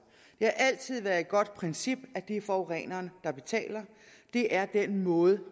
har altid været et godt princip at det er forureneren der betaler det er den måde